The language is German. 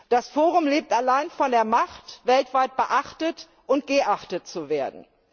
Das Forum lebt allein von der Macht, weltweit beachtet und geachtet zu werden.